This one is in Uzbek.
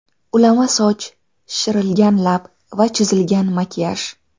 Ulama soch, shishirilgan lab va chizilgan makiyaj.